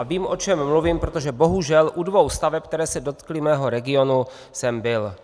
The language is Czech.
A vím, o čem mluvím, protože bohužel u dvou staveb, které se dotkly mého regionu, jsem byl.